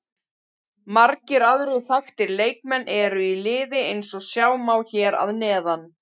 Margir aðrir þekktir leikmenn eru í liðinu eins og sjá má hér að neðan.